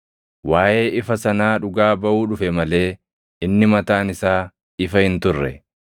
Waaʼee ifa sanaa dhugaa baʼuu dhufe malee inni mataan isaa ifa hin turre.